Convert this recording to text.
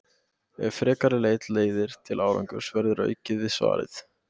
Ef frekari leit leiðir til árangurs verður aukið við svarið.